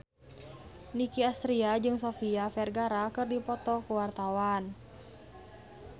Nicky Astria jeung Sofia Vergara keur dipoto ku wartawan